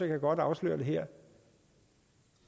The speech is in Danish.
kan godt afsløre det her